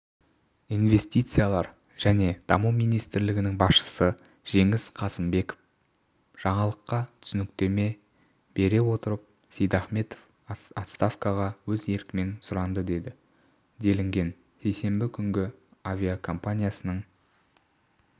инвестициялар және даму министрлігінің басшысы жеңіс қасымбек жаңалыққа түсініктеме бере отырып сейдахметов отставкаға өз еркімен сұранды деді делінген сейсенбі күнгі авиакомпаниясының